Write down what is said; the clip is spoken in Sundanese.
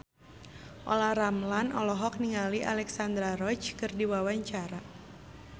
Olla Ramlan olohok ningali Alexandra Roach keur diwawancara